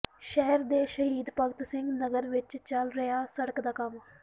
ਸ਼ਹਿਰ ਦੇ ਸ਼ਹੀਦ ਭਗਤ ਸਿੰਘ ਨਗਰ ਵਿੱਚ ਚੱਲ ਰਿਹਾ ਸੜਕ ਦਾ ਕੰਮ